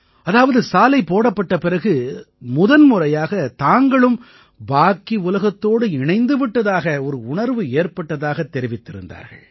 அதாவது சாலை போடப்பட்ட பிறகு முதன்முறையாக தாங்களும் பாக்கி உலகத்தோடு இணைந்து விட்டதாக ஒரு உணர்வு ஏற்பட்டதாகத் தெரிவித்திருந்தார்கள்